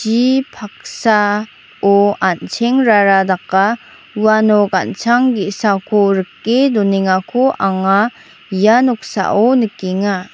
chi paksa-o an·chengrara daka uano ganchang ge·sako rike donengako anga ia noksao nikenga.